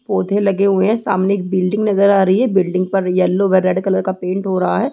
पौधे लगे हुए हैं सामने एक बिल्डिंग नजर आ रही है बिल्डिंग पर येलो व रेड कलर का पेंट हो रहा है।